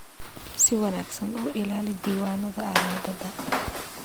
Si wanaagsan u ilaali diiwaannada alaabada.